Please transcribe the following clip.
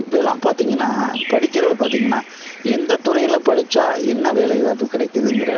இப்ப எல்லாம் பார்த்திங்கனா படிக்கிறது பாத்தீங்கன்னா எந்த துறையில படிச்சா என்ன வேலை வாய்ப்பு கிடைக்குதுங்கிற